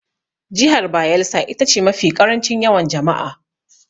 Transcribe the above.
Jihar Bayelsa ita ce mafi ƙarancin yawan jama'a.